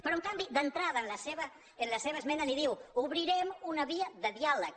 però en canvi d’entra·da en la seva esmena li diu obrirem una via de dià·leg